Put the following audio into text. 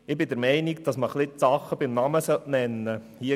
Ich bin der Meinung, dass man die Dinge beim Namen nennen soll.